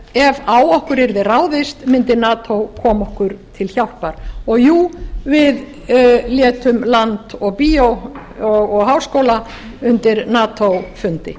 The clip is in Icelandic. ef á okkur yrði ráðist mundi nato koma okkur til hjálpar og jú við létum land og bíó og háskóla undir nato fundi